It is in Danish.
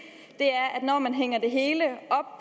når man hænger det hele